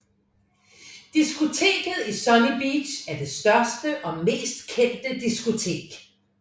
Diskoteket i Sunny Beach er det største og mest kendte diskotek